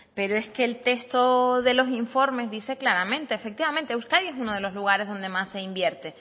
pero es que el texto de los informes dice claramente efectivamente euskadi es uno de los lugares donde más se invierte